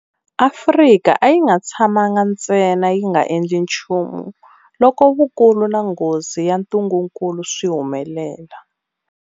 Afrika a yi nga tshamangi ntsena yi nga endli nchumu loko vukulu na nghozi ya ntungukulu swi humelela.